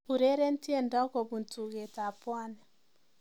Ureren tiendo kobun tugetab Pwani